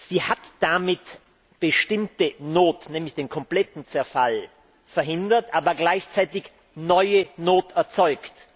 Sie hat eine bestimmte Not, nämlich den kompletten Zerfall, verhindert, aber gleichzeitig neue Not erzeugt.